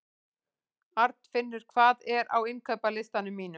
Arnfinnur, hvað er á innkaupalistanum mínum?